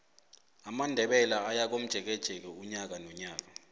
amandebele ayakomjekeje unyaka nonyaka